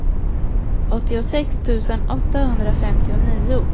åttiosex tusen åttahundrafemtionio